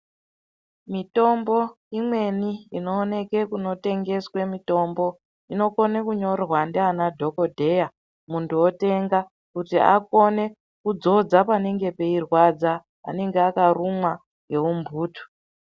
Mitombo imweni inooneke kunotengeswe mitombo inokone kunyorwa ndiana dhokodheya muntu otenga, kuti akone kudzodza panenge peirwadza, anenge akarumwa ngeumbutu.